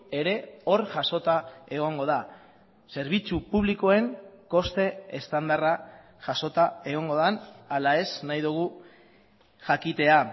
ere hor jasota egongo da zerbitzu publikoen koste estandarra jasota egongo den ala ez nahi dugu jakitea